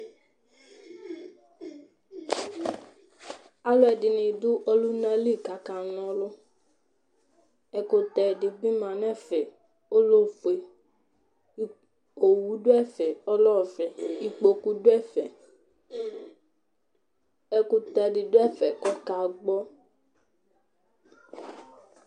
alu ɛdini du ɔluna li kaka n'ɔlu, ɛkutɛ di bi ma n'ɛfɛ ɔlɛ ofue, owu du ɛfɛ ɔlɛ ɔvɛ, ikpoku du ɛfɛ, ɛkutɛ di du ɛfɛ kɔka gbɔ